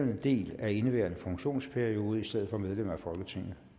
del af indeværende funktionsperiode i stedet for medlem af folketinget